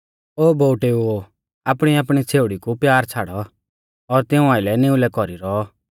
ओ बोउटेउओ आपणीआपणी छ़ेउड़ी कु प्यार छ़ाड़ौ और तिऊं आइलै निउलै कौरी रौ